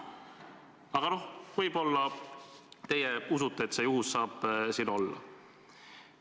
Aga noh, võib-olla teie usute, et see saab siin juhus olla.